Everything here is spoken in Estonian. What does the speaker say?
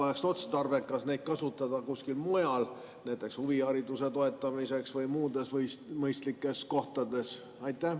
Ehk oleks otstarbekas neid kasutada kusagil mujal, näiteks huvihariduse toetamiseks või muudes mõistlikes kohtades?